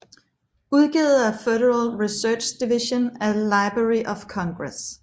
Udgivet af Federal Research Division af Library of Congress